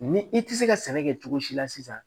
Ni i tɛ se ka sɛnɛ kɛ cogo si la sisan